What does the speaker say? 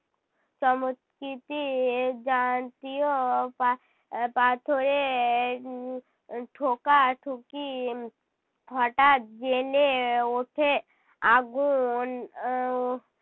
চমৎকৃতির যান্তীও পা~ আহ পাথরের উহ ঠোকা-ঠুকি হটাৎ জ্বেলে ওঠে আগুন আহ